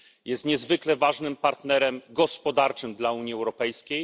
Jest niezwykle ważnym partnerem gospodarczym dla Unii Europejskiej.